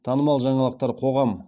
танымал жаңалықтар қоғам